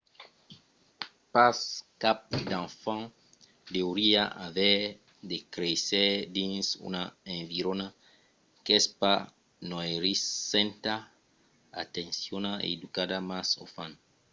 pas cap d'enfant deuriá aver de créisser dins una environa qu'es pas noirissenta atencionada e educativa mas o fan